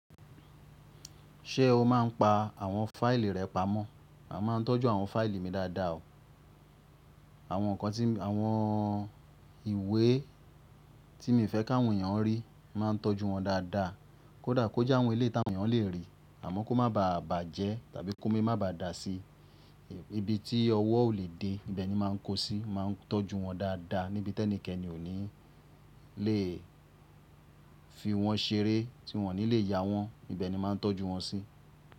Ṣé o máa ń pa àwọn fáìlì rẹ pamọ́? A máa ń tọ́jú àwọn fáìlì mi dáadáa o. Àwọn ìwé tí mo fẹ́ ki áwọn èèyàn rí, máa ń tọ́jú wọn dáadáa. Kódà kó jẹ́ àwọn eléyi tí àwọn èèyàn lè rí àmọ́ kó má baà bàjẹ́ tàbí ki omi má baà dà si. Ibi tí ọwọ́ ò lè dé, ibẹ̀ ni máa ń kó sí, máa ń tọ́jú wọn dáadáa níbi tí ẹnikẹ́ni ò ní lè fi wọ́n ṣeré tí wọ́n ò ní lè ya wọ́n, ibẹ̀ ni máa ń tọ́jú wọn sí.